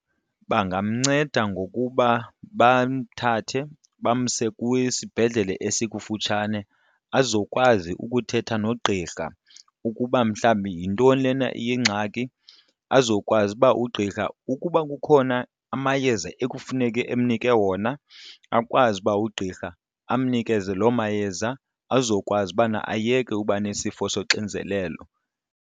Bangamnceda ngokuba bamthathe bamse kwisibhedlele esikufutshane azokwazi ukuthetha nogqirha ukuba mhlawumbi yintoni lena iyingxaki azokwazi uba ugqirha ukuba kukhona amayeza ekufuneke amnike wona akwazi uba ugqirha amnikeze loo mayeza azokwazi ubana ayeke uba nesifo soxinzelelo.